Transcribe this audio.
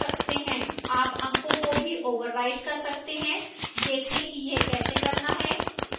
आप अंकों को भी override कर सकते हैं देखें कि यह कैसे करना है